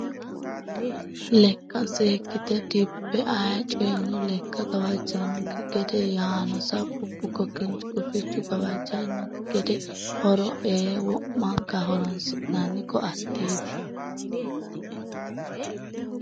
Lekka seekkite dibbe ayee coyino lekka gawajanokki gede yaano sabbu bukko kinchu gufichu gawajanokki gede horo ee wo'mankawa horonsi'nanni koatteti.